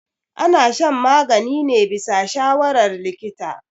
ana shan magani ne bisa shawarar likita